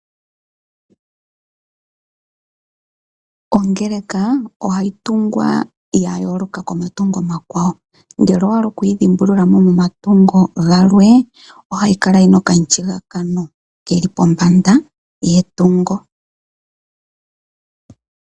Ongeleka ohayi tungwa yayooloka komatungo omakwawo. Ngele owahala okuyi dhimbululamo momatungo galwe, ohayi kala yina okamushigakano keli pombanda yetungo.